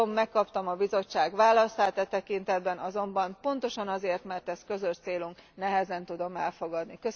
Tudom, megkaptam a Bizottság válaszát e tekintetben, azonban pontosan azért, mert ez közös célunk, nehezen tudom elfogadni.